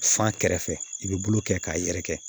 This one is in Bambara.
Fan kɛrɛfɛ i bɛ bulu kɛ k'a yɛrɛkɛ